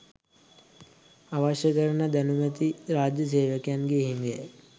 අවශ්‍ය කරන දැනුමැති රාජ්‍ය සේවකයන්ගේ හිගයයි.